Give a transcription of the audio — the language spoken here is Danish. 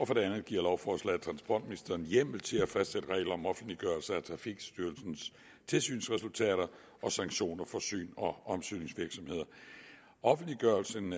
for det andet giver lovforslaget transportministeren hjemmel til at fastsætte regler om offentliggørelse af trafikstyrelsens tilsynsresultater og sanktioner for syns og omsynsvirksomheder offentliggørelsen